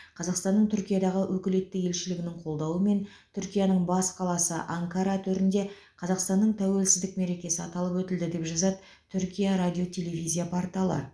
қазақстанның түркиядағы өкілетті елшілігінің қолдауымен түркияның бас қаласы анкара төрінде қазақстанның тәуелсіздік мерекесі аталып өтілді деп жазады түркия радио телевизия порталы